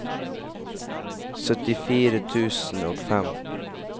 syttifire tusen og fem